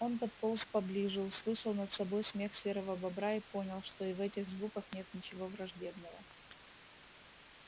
он подполз поближе услышал над собой смех серого бобра и понял что и в этих звуках нет ничего враждебного